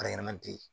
Baara ɲɛnama tɛ ye